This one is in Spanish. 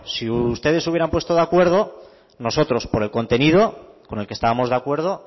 si ustedes se hubieran puesto de acuerdo nosotros por el contenido con el que estábamos de acuerdo